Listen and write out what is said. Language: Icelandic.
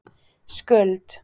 Skuld